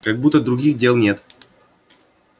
как будто других дел нет